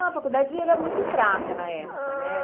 Ah, a faculdade era muito fraca na época, né?